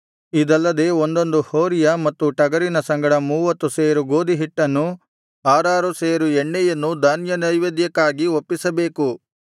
ಇದಲ್ಲದೆ ಒಂದೊಂದು ಹೋರಿಯ ಮತ್ತು ಟಗರಿನ ಸಂಗಡ ಮೂವತ್ತು ಸೇರು ಗೋದಿಹಿಟ್ಟನ್ನೂ ಆರಾರು ಸೇರು ಎಣ್ಣೆಯನ್ನೂ ಧಾನ್ಯನೈವೇದ್ಯಕ್ಕಾಗಿ ಒಪ್ಪಿಸಬೇಕು